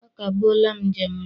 Akagbuola m njem gị!